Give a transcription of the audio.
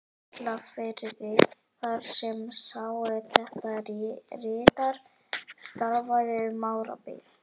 Kollafirði, þar sem sá, er þetta ritar, starfaði um árabil.